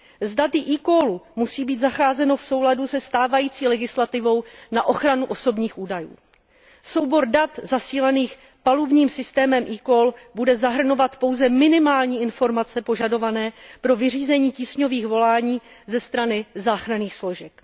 S daty eCall musí být zacházeno v souladu se stávající legislativou na ochranu osobních údajů. Soubor dat zasílaných palubním systémem eCall bude zahrnovat pouze minimální informace požadované pro vyřízení tísňových volání ze strany záchranných složek.